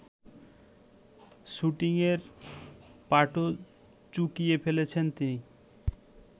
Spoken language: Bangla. শুটিংয়ের পাটও চুকিয়ে ফেলেছেন তিনি